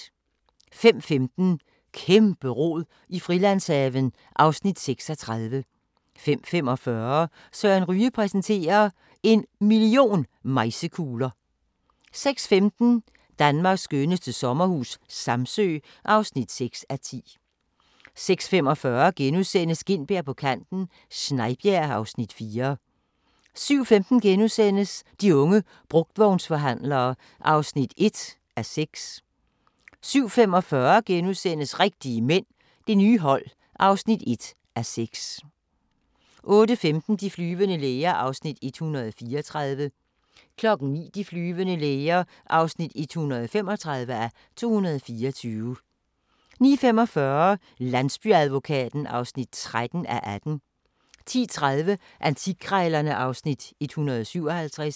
05:15: Kæmpe-rod i Frilandshaven (Afs. 36) 05:45: Søren Ryge præsenterer – En million mejsekugler ... 06:15: Danmarks skønneste sommerhus - Samsø (6:10) 06:45: Gintberg på kanten - Snejbjerg (Afs. 4)* 07:15: De unge brugtvognsforhandlere (1:6)* 07:45: Rigtige mænd – Det nye hold (1:6)* 08:15: De flyvende læger (134:224) 09:00: De flyvende læger (135:224) 09:45: Landsbyadvokaten (13:18) 10:30: Antikkrejlerne (Afs. 157)